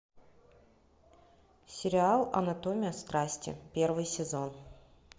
сериал анатомия страсти первый сезон